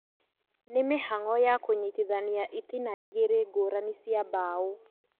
Nĩ mĩhang'o ya kũnyitithania itina igĩrĩ ngũrani cia mbaũ